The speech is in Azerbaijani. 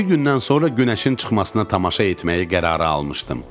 İki gündən sonra günəşin çıxmasına tamaşa etməyə qərarı almışdım.